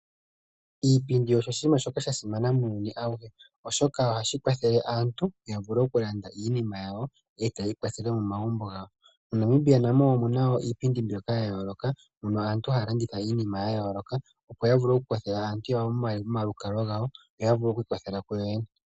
Iipindi osho oshinima shoka sha simana muuyuni awuhe, oshoka ohashi kwathele aantu ya vule okulanda iinima yawo, e tayi ikwathele momagumbo gawo. MoNamibia namo omuna wo iipindi mbyoka ya yooloka, mono aantu haa landitha iinima ya yooloka. Opo ya vule okukwathela aantu momalukalwa gawo, yo ya vule okwiikwathela kuyo yene.